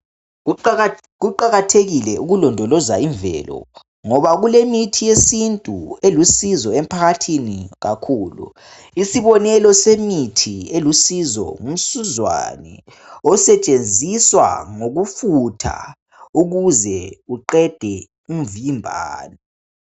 Kuqakathekile ukulondoloza imvelo, ngoba kulemithi yesintu elusizo emphakathini kakhulu. Isibonelo semithi elusizo ngumsuzwane. Osetshenziswa ngokufutha, ukuze kuqedwe umvimbano.